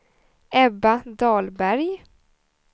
Ebba Dahlberg